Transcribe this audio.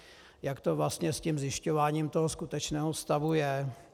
Jak to vlastně s tím zjišťováním toho skutečného stavu je.